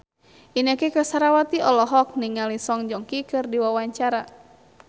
Inneke Koesherawati olohok ningali Song Joong Ki keur diwawancara